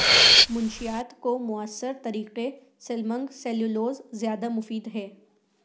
منشیات کو موثر طریقے سلمنگ سیلولوز زیادہ مفید ہے